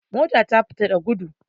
Mota ta fita da gudu.